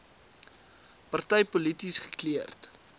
party polities gekleurd